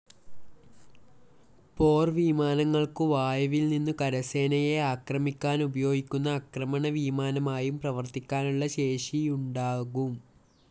പോർവിമാനങ്ങൾക്കു വായുവിൽനിന്നു കരസേനകളെ ആക്രമിക്കാനുപയോഗിക്കുന്ന ആക്രമണ വിമാനമായും പ്രവർത്തിക്കാനുള്ള ശേഷിയുണ്ദാവും.